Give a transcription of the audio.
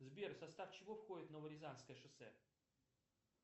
сбер в состав чего входит новорязанское шоссе